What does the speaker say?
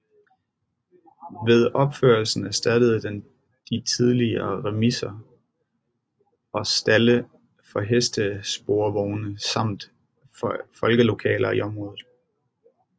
Ved opførelsen erstattede den de tidligere remiser og stalde for hestesporvogne samt folkelokaler i området